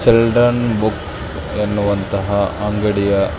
children books ಎನ್ನುವಂತಹ ಅಂಗಡಿಯ --